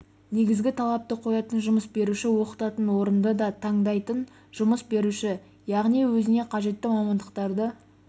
негізгі талапты қоятын жұмыс беруші оқытатын орынды да таңдайтын жұмыс беруші яғни өзіне қажетті мамандықтарды